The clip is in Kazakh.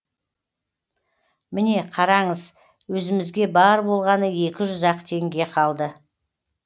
міне қараңыз өзімізге бар болғаны екі жүз ақ теңге қалды